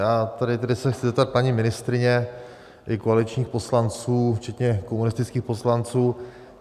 Já se tedy chci zeptat paní ministryně i koaličních poslanců včetně komunistických poslanců.